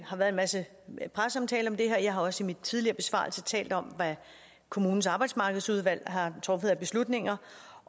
har været en masse presseomtale af det her jeg har også i min tidligere besvarelse talt om hvad kommunens arbejdsmarkedsudvalg har truffet af beslutninger